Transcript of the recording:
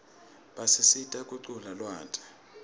basisita kuquna lwati